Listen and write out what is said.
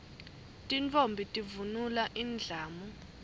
tintfombi tivunula indlamu